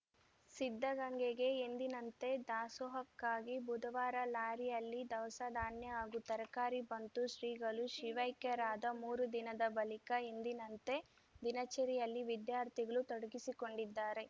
ಸಿದ್ಧಗಂಗೆಗೆ ಎಂದಿನಂತೆ ದಾಸೋಹಕ್ಕಾಗಿ ಬುಧವಾರ ಲಾರಿಯಲ್ಲಿ ದವಸ ಧಾನ್ಯ ಹಾಗೂ ತರಕಾರಿ ಬಂತು ಶ್ರೀಗಳು ಶಿವೈಕ್ಯರಾದ ಮೂರು ದಿನದ ಬಳಿಕ ಎಂದಿನಂತೆ ದಿನಚರಿಯಲ್ಲಿ ವಿದ್ಯಾರ್ಥಿಗಳು ತೊಡಗಿಸಿಕೊಂಡಿದ್ದಾರೆ